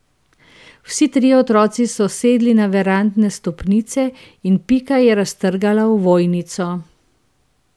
Vsi trije otroci so sedli na verandne stopnice in Pika je raztrgala ovojnico.